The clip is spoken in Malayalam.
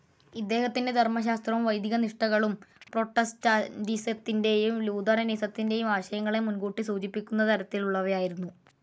ഇദ്ദേഹത്തിന്റെ ധർമശാസ്ത്രവും വൈദിക നിഷ്ഠകളും പ്രൊട്ടസ്റ്റന്റിസത്തിന്റെയും ലൂഥറനിസത്തിന്റെയും ആശയങ്ങളെ മുൻകൂട്ടി സൂചിപ്പിക്കുന്ന തരത്തിലുള്ളവയായിരുന്നു.